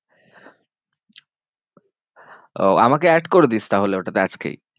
ও আমাকে add করে দিস তাহলে ওটাতে আজকেই।